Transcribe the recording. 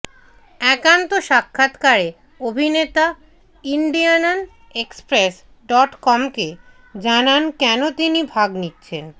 একান্ত সাক্ষাৎকারে অভিনেতা ইন্ডিয়ানন এক্সপ্রেস ডট কমকে জানান কেন তিনি ভাগ নিচ্ছেন